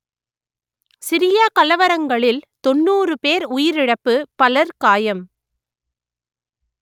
Syria கலவரங்களில் தொன்னூறு பேர் உயிரிழப்பு பலர் காயம்